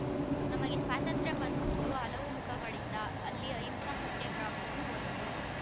ನಮಗೆ ಸ್ವಾತಂತ್ರ್ಯ ಬಂದಿದ್ದು ಹಲವು ಮುಖಗಳಿಂದ ಅಲ್ಲಿ ಅಹಿಂಸಾ ಸತ್ಯಾಗ್ರಹವೂ ಒಂದು